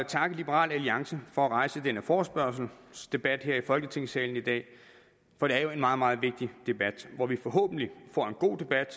takke liberal alliance for at rejse denne forespørgselsdebat her i folketingssalen i dag for det er jo en meget meget vigtig debat hvor vi forhåbentlig får en god debat